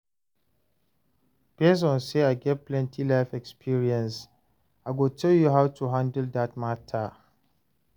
base on say I get plenty life experiences, I go tell you how to handle dat matter